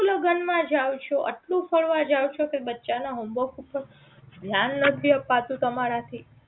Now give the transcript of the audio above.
લગન માં જાવ છો આટલું ફરવા જાવ છો કે બચ્ચા ના homework ઉપર ધ્યાન નથી અપાતું તમારા થી